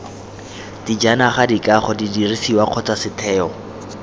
dijanaga dikago didirisiwa kgotsa setheo